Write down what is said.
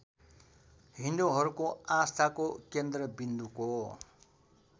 हिन्दुहरूको आस्थाको केन्द्रविन्दुको